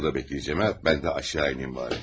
Burada gözləyəcəm ha, mən də aşağı enəyim bari.